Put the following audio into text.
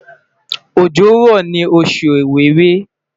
ojo ra ni osu Ọwẹ́wẹ̀